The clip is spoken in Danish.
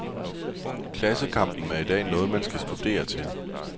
Klassekampen er i dag noget man skal studere til.